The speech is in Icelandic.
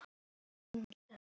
Þörfin er því mikil.